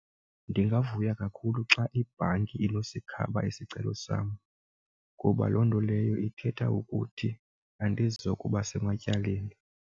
Ndingavuya kakhulu xa ibhanki inosikhaba isicelo sam kuba loo nto leyo ithetha ukuthi andizokuba sematyaleni.